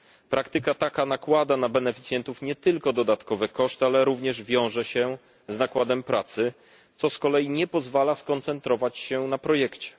Praktyka taka nakłada na beneficjentów nie tylko dodatkowe koszty, ale również wiąże się z nakładem pracy, co z kolei nie pozwala skoncentrować się na projekcie.